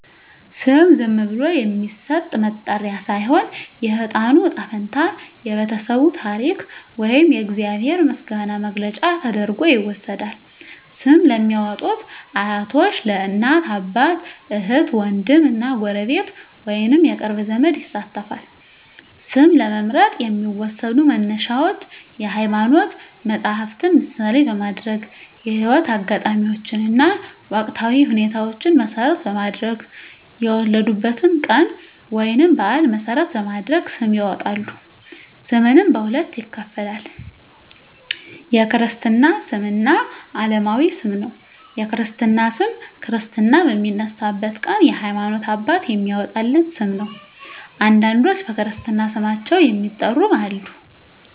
ስም ዝም ብሎ የሚሰጥ መጠሪያ ሳይሆን፣ የሕፃኑ ዕጣ ፈንታ፣ የቤተሰቡ ታሪክ ወይም የእግዚአብሔር ምስጋና መግለጫ ተደርጎ ይወሰዳል። ስም ለሚያዎጡት አያቶች፣ እናት አባት፣ እህት ዎንድም እና ጎረቤት ወይንም የቅርብ ዘመድ ይሳተፋል። ስም ለመምረጥ የሚዎሰዱ መነሻዎች የሀይማኖት መፀሀፍትን ምሳሌ በማድረግ፣ የህይወት አጋጣሚዎችን እና ወቅታዊ ሁኔታዎችን መሰረት በማድረግ፣ የወለዱበትን ቀን ወይንም በአል መሰረት በማድረግ ስም ያወጣሉ። ስምንም በሁለት ይከፈላል። የክርስትና ስም እና አለማዊ ስም ነው። የክርስትና ስም ክርስትና በሚነሳበት ቀን የሀይማኖት አባት የሚያዎጣለት ስም ነው። አንዳንዶች በክርስትና ስማቸው የሚጠሩም አሉ።